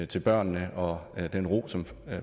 til børnene og den ro som